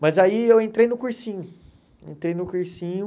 Mas aí eu entrei no cursinho, entrei no cursinho.